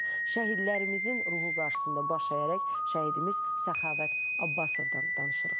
Şəhidlərimizin ruhu qarşısında baş əyərək, şəhidimiz Səxavət Abbasovdan danışırıq.